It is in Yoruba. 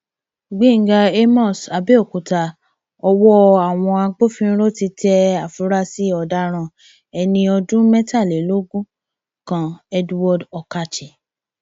gbẹngà àmos abéòkúta ọwọ àwọn agbófinró ti tẹ àfúrásì ọdaràn ẹni ọdún mẹtàlélógún kan edward okache